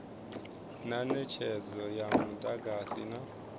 na netshedzo ya mudagasi na